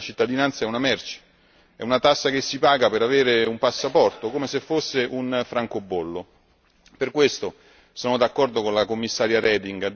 Oggi il governo socialista di Malta ci dice che, invece, la cittadinanza è una merce, è una tassa che si paga per avere un passaporto, come se fosse un francobollo.